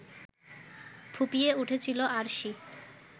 ফুঁপিয়ে উঠেছিল আরশি।